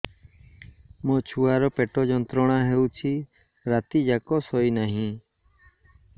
ମୋ ଛୁଆର ପେଟ ଯନ୍ତ୍ରଣା ହେଉଛି ରାତି ଯାକ ଶୋଇନାହିଁ